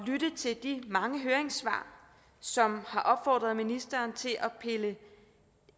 lytte til de mange høringssvar som har opfordret ministeren til at pille